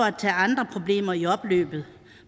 at tage andre problemer i opløbet